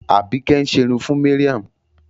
Àbíkẹ́ ń ṣerun fún Mariam.